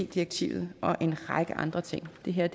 direktivet og en række andre ting det her